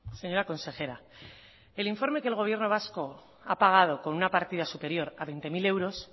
señora consejera el informe que el gobierno vasco ha pagado con una partida superior a veinte mil euros